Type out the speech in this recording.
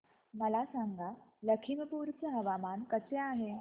मला सांगा लखीमपुर चे हवामान कसे आहे